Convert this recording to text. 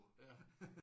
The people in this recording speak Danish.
Ja